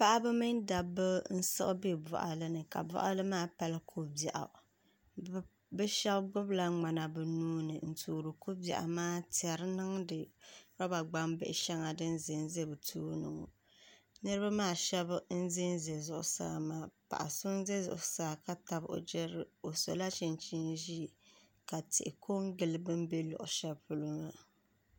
Paɣaba mini dabba n siɣi bɛ boɣali ni ka boɣali maa pali ko biɛɣu bi shab gbubila ŋmana bi nuuni n toori ko biɛɣu maa n tiɛri niŋdi roba gbambihi shɛŋa din ʒɛnʒɛ di tooni ŋo niraba maa shab n ʒɛnʒɛ zuɣusaa maa paɣa so n ʒɛ zuɣusaa ka tabi o jirili o sola chinchin ʒiɛ ka tihi ko n gili bi ni bɛ luɣu shɛli polo maa